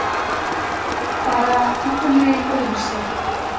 Bara einhvernveginn öðruvísi.